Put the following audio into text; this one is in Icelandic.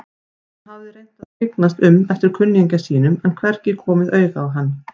Hann hafði reynt að skyggnast um eftir kunningja sínum en hvergi komið auga á hann.